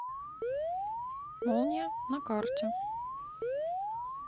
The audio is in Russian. молния на карте